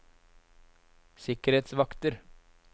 sikkerhetsvakter